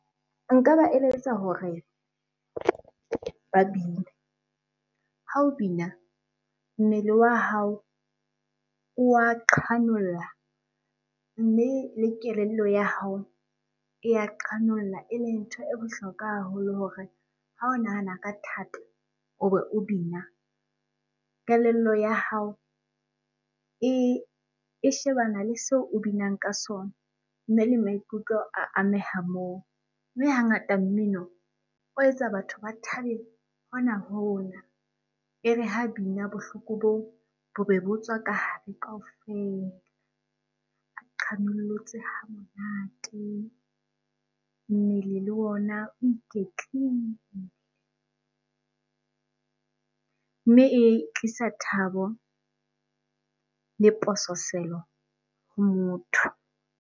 Nka ba eletsa hore ba bine. Ha o bina mmele wa hao o wa qhanolla mme le kelello ya hao e ya qhanolla. Eleng ntho e bohlokwa haholo hore ha o nahana ka thata o be o bina, kelello ya hao e shebana le seo o binang ka sona mme le maikutlo a ameha moo. Mme hangata mmino o etsa batho ba thabe hona-hona, e re ha bina bohloko boo bobe bo tswa ka hare kaofela. A qhanollotse ha monate, mmele le ona o iketlile mme e tlisa thabo le pososelo ho motho.